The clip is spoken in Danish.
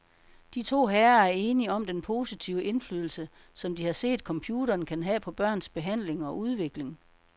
De to herrer er enige om den positive indflydelse, som de har set computeren kan have på børns behandling og udvikling.